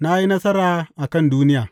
Na yi nasara a kan duniya.